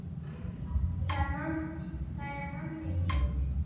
Það er manni dýrmætt núna.